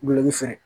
Gulɔki fɛ